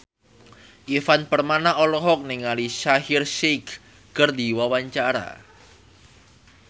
Ivan Permana olohok ningali Shaheer Sheikh keur diwawancara